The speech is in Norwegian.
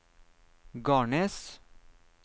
Garnes